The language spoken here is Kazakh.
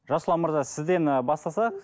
жасұлан мырза сізден і бастасақ